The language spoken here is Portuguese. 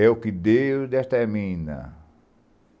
É o que Deus determina.